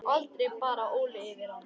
Aldrei bar Óli yfir ána.